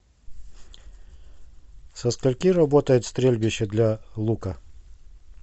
со скольки работает стрельбище для лука